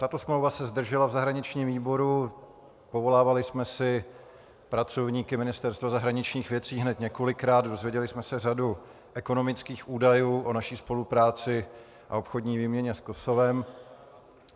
Tato smlouva se zdržela v zahraničním výboru, povolávali jsme si pracovníky Ministerstva zahraničních věcí hned několikrát, dozvěděli jsme se řadu ekonomických údajů o naší spolupráci a obchodní výměně s Kosovem.